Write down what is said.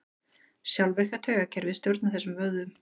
Sjálfvirka taugakerfið stjórnar þessum vöðvum.